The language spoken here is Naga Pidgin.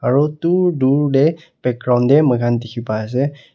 Aro dur dur dae background dae moikhan dekhey pai ase--